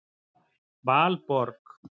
Valborg